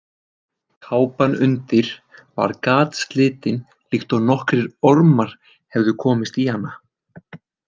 Kápan undir var gatslitin líkt og nokkrir ormar hefðu komist í hana.